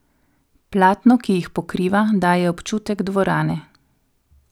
Platno, ki jih pokriva, daje občutek dvorane.